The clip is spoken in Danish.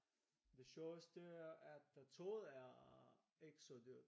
Det sjoveste er at toget er ikke så dyrt